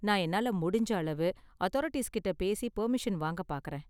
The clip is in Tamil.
நான் என்னால முடிஞ்ச அளவு அதாரிட்டீஸ் கிட்ட பேசி பர்மிஷன் வாங்கப் பார்க்கறேன்.